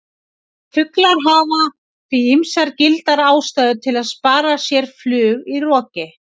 Fuglar hafa því ýmsar gildar ástæður til að spara sér flug í roki!